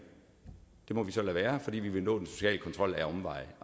så lade være fordi man vil nå den sociale kontrol ad omveje